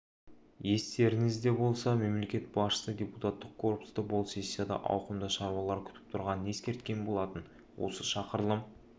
естеріңізде болса мемлекет басшысы депутаттық корпусты бұл сессияда ауқымды шаруалар күтіп тұрғанын ескерткен болатын осы шақырылым